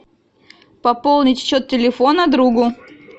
пополнить счет телефона другу